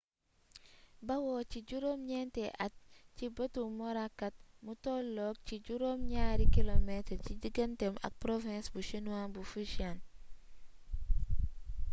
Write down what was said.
bawoo ci juróom ñeenti at ci bëtu morakot mu tolloot ci juróom ñaari kilomeetar ci diganteem ak province bu chinois bu fujian